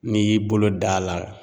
N'i y'i bolo da a la.